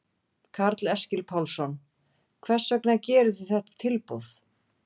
Karl Eskil Pálsson: Hvers vegna gerir þið þetta tilboð?